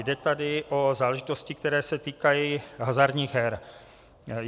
Jde tady o záležitosti, které se týkají hazardních her.